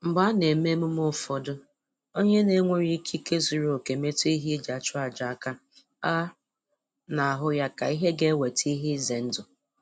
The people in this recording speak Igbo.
Mgbe a na-eme emume ụfọdụ, onye na-enweghị ikike zuru oke metụ ehi e ji achụ aja aka, a na-ahụ ya ka ihe ga-eweta ihe ize ndụ